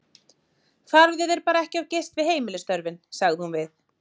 Farðu þér bara ekki of geyst við heimilisstörfin, sagði hún við